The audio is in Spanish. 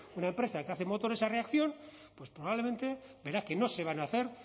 una empresa que hace motores a reacción probablemente verá que no se van a hacer